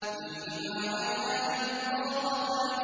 فِيهِمَا عَيْنَانِ نَضَّاخَتَانِ